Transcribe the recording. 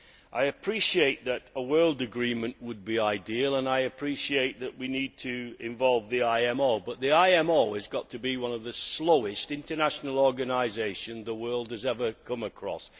I appreciate that a world agreement would be ideal and I appreciate that we need to involve the IMO, but the IMO has got to be one of the slowest international organisations the world has ever come across.